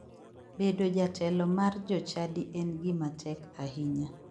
Bedo jatelo mar jochadi en gima tek ahinya.